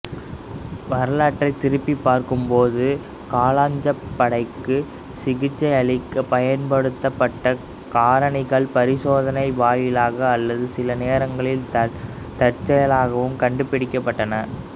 வரலாற்றைத் திருப்பிப் பார்க்கும்போது காளாஞ்சகப்படைக்கு சிகிச்சையளிக்க பயன்படுத்தப்பட்ட காரணிகள் பரிசோதனை வாயிலாக அல்லது சில நேரங்களில் தற்செயலாகவும் கண்டுபிடிக்கப்பட்டன